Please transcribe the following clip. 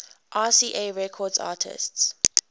rca records artists